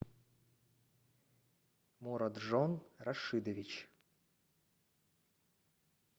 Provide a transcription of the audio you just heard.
мураджон рашидович